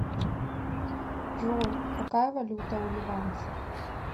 джой какая валюта у ливанцев